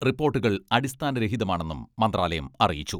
റിപ്പോട്ടുകൾ അടിസ്ഥാനരഹിതമാണെന്നും മന്ത്രാലയം അറിയിച്ചു.